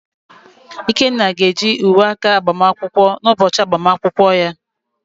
Ikenna ga-eji uwe aka agbamakwụkwọ n’ụbọchị agbamakwụkwọ ya.